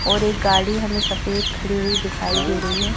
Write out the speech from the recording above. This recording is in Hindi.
और एक गाड़ी हमें सफेद खड़ी हुई दिखाई दे रही है।